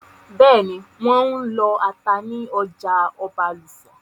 Bẹ́ẹ̀nì, wọ́n n lọ ata ní ọjà Ọbàlùfọ̀n